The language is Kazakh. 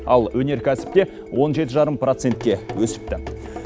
ал өнеркәсіпте он жеті жарым процентке өсіпті